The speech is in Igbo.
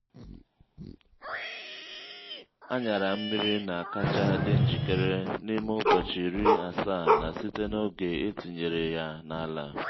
aṅyara mmiri na-akacha dị njikere n'ime ụbọchị iri asaa na site n’oge e tinyere ya n’ala.